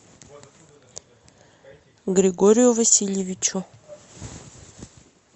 григорию васильевичу